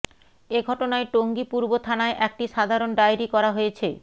এ ঘটনায় টঙ্গী পূর্ব থানায় একটি সাধারণ ডায়েরি করা হয়েছে